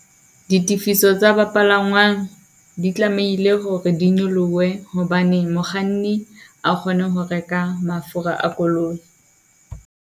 Ditifiso tsa ba palangwang di tlamehile hore di nyolohe, hobane mokganni a kgone ho reka mafura a koloi.